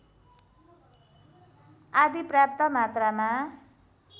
आदि पर्याप्त मात्रामा